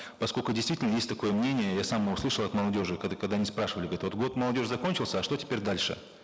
поскольку действительно есть такое мнение я сам его слышал от молодежи когда они спрашивали год молодежи закончился а что теперь дальше